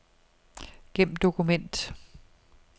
Gem dokument.